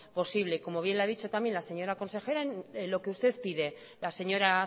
posible como bien le ha dicho también la señora consejera en lo que usted pide la señora